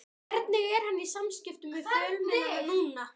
Hvernig er hann í samskiptum við fjölmiðla núna?